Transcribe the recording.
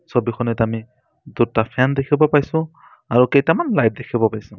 ছবিখনত আমি দুটা ফেন দেখিব পাইছোঁ আৰু কেইটামান লাইট দেখিব পাইছোঁ।